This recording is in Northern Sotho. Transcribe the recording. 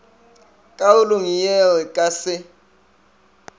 karolong ye re ka se